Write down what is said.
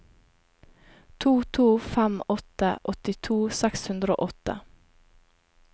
to to fem åtte åttito seks hundre og åtte